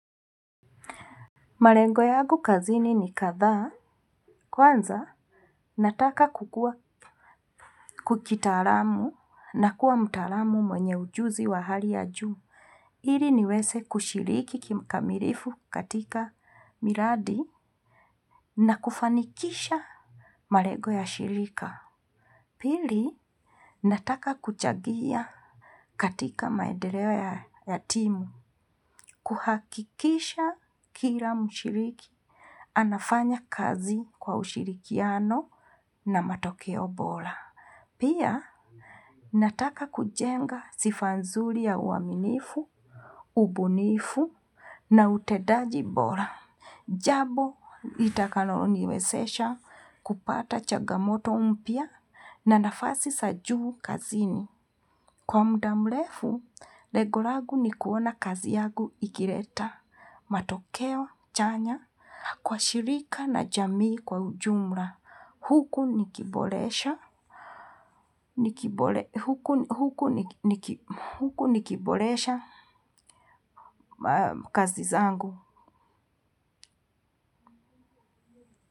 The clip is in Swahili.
Marengo yagu kazini ni kadhaa, kwanza nataka kukua kukitaaramu na kuwa mtaaramu mwenye ujuzi wa hali ya juu. Iri niweze kushiriki kikamirifu katika miradi na kufanikisha marego ya shirika. Pili, nataka kuchagia katika maedereo ya timu, kuhakikisha kila mushiriki, anafanya kazi kwa ushirikiano. Na matokeo bora. Pia nataka kujenga sifa nzuli ya uaminifu, ubunifu na utedaji bora. Jabo litakalo niwesesha kupata chagamoto mpya na nafasi sa juu kazini. Kwa mda mlefu, lego lagu ni kuona kazi yagu ikireta. Matokeo chanya kwa shirika na jamii kwa ujumla. Huku niki huku nikibolesha kazi zangu.